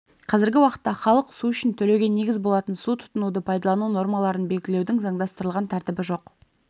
қазіргі уақытта халық су үшін төлеуге негіз болатын су тұтынуды пайдалану нормаларын белгілеудің заңдастырылған тәртібі жоқ